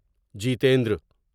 Jitendra